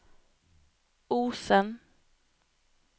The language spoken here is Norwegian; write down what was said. Osen